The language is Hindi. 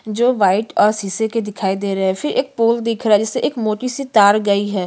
जो व्हाइट और शीशे के दिखाई दे रहै फिर एक पोल दिख रहा जिससे एक मोटीसी तार गई है।